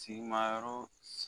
Tigi ma yɔrɔ